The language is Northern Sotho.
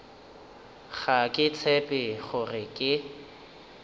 ga ke tshepe gore ke